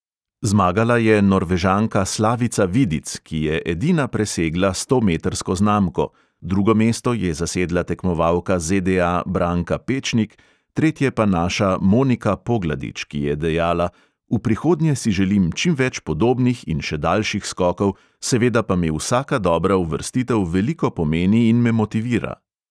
Zmagala je norvežanka slavica vidic, ki je edina presegla stometrsko znamko, drugo mesto je zasedla tekmovalka ZDA branka pečnik, tretje pa naša monika pogladič, ki je dejala: "V prihodnje si želim čim več podobnih in še daljših skokov, seveda pa mi vsaka dobra uvrstitev veliko pomeni in me motivira."